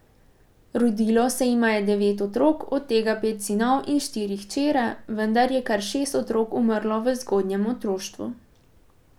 Rodilo se jima je devet otrok, od tega pet sinov in štiri hčere, vendar je kar šest otrok umrlo v zgodnjem otroštvu.